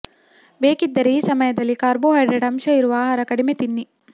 ಬೇಕಿದ್ದರೆ ಈ ಸಮಯದಲ್ಲಿ ಕಾರ್ಬೋ ಹೈಡ್ರೇಟ್ ಅಂಶ ಇರುವ ಆಹಾರ ಕಡಿಮೆ ತಿನ್ನಿ